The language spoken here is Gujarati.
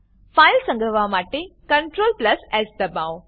ફાઈલ સંગ્રહવા માટે ctrls દબાવો